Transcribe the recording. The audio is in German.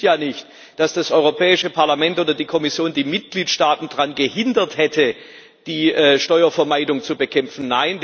Es stimmt ja nicht, dass das Europäische Parlament oder die Kommission die Mitgliedstaaten daran gehindert hätte, die Steuervermeidung zu bekämpfen.